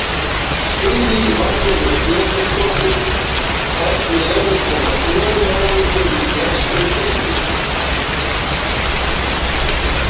Lillý Valgerður Pétursdóttir: Hvernig eru svona kjörin hjá ykkur flestum í deildinni?